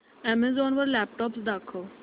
Amazon वर laptops दाखव